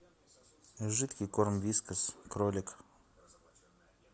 жидкий корм вискас кролик